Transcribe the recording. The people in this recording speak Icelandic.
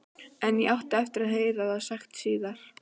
En ég átti eftir að heyra það sagt síðar.